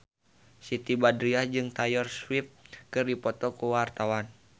Siti Badriah jeung Taylor Swift keur dipoto ku wartawan